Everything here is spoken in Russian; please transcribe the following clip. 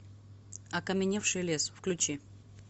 окаменевший лес включи